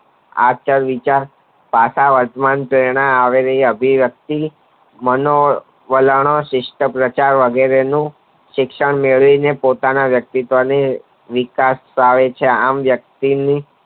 આપણા વિચાર પાછા વર્તમાન થતી આવી રહેલા જે વ્યક્તિ મનો વલણ સિસ્ટ પ્રચાર વગેરે નું શિક્ષણ મેળવી ને પોતાના વ્યક્તિત્વ નું વિકાસ થાય છે આમ વ્યકિતની